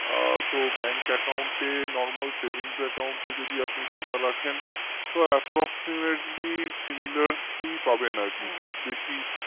আ তো bank account এ normalsavingsaccount এ যদি আপনি টাকা রাখেন তো approximatelysimilarly ই পাবেন আর কি খুব বেশি